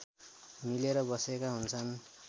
मिलेर बसेका हुन्छन्